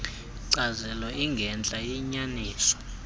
nkcazelo ingentla iyinyaniso